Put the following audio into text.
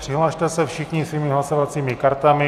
Přihlaste se všichni svými hlasovacími kartami.